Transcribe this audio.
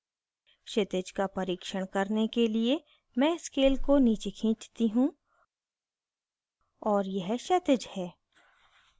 क्षितिज का परिक्षण करने के लिए मैं scale को नीचे खींचती हूँ और यह क्षैतिज है